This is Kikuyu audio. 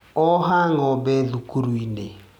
Oha ng'ombe thukuru-inĩ.